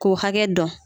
K'u hakɛ dɔn